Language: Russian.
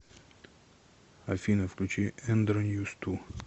афина включи эндро ньюс ту